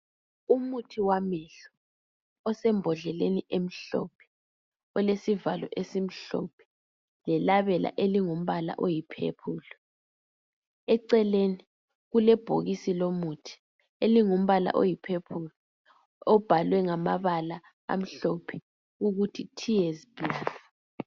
Umuthi wamehlo osembodleleni emhlophe olesivalo esimhlophe lelabela elingumbala oyi"purple".Eceleni kulebhokisi lomuthi elingumbala oyi"purple " obhalwe ngamabala amhlophe ukuthi "Tears plus".